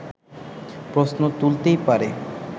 প্রশ্ন তুলতেই পারে